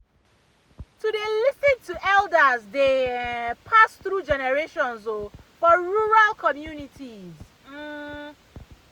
to dey lis ten to elders dey um pass through generations um for rural communities pause um um.